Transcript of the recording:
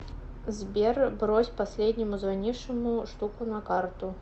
сбер брось последнему звонившему штуку на карту